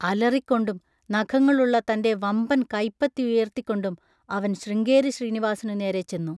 അലറിക്കൊണ്ടും നഖങ്ങളുള്ള തൻ്റെ വമ്പൻ കൈപ്പത്തിയുയർത്തിക്കൊണ്ടും അവൻ ശൃംഗേരി ശ്രീനിവാസിനുനേരെ ചെന്നു.